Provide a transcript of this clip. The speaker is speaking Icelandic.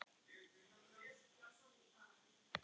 Þetta ætti að vera öfugt.